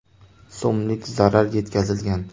so‘mlik zarar yetkazilgan.